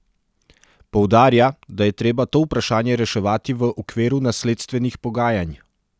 Poudarja, da je treba to vprašanje reševati v okviru nasledstvenih pogajanj.